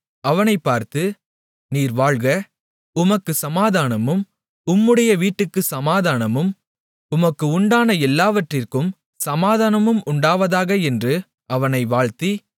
அவனை பார்த்து நீர் வாழ்க உமக்குச் சமாதானமும் உம்முடைய வீட்டுக்குச் சமாதானமும் உமக்கு உண்டான எல்லாவற்றிற்கும் சமாதானமும் உண்டாவதாக என்று அவனை வாழ்த்தி